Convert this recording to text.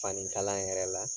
Fani kala yɛrɛ la.